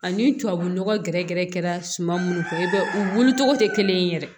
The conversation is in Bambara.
Ani tubabu nɔgɔ gɛrɛ gɛrɛ kɛra suma minnu fɛ i bɛ u wuli cogo tɛ kelen ye yɛrɛ